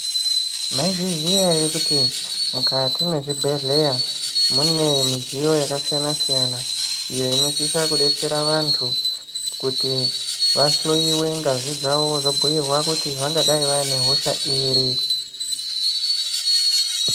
Maizviziya ere kuti mukati mwezvibhedhlera mune midziyo yakasiyana-siyana iyo inosisa kudetsera vantu kuti vahloiwe ngazi dzavo vozobhuirwa kuti vangadai vaine hosha iri.